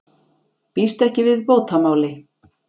Býst ekki við bótamáli